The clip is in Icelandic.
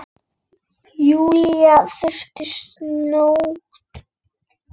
Júlía þagnar snöggt.